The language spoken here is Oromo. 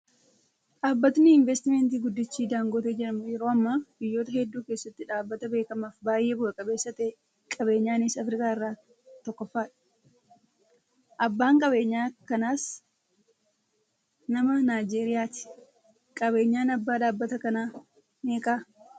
Dhaabbatni investimentii guddichi Dangote jedhamu yeroo ammaa biyyoota hedduu keessatti dhaabbata beekamaa fi baay'ee bu'aa qabeessa ta'ee qabeenyaanis Afrikaa irraa tokkoffaadha. Abbaan qabeenyaa kanaas nama Naayijeeriyaati. Qabeenyaan abbaa dhaabbata kanaa meeqa?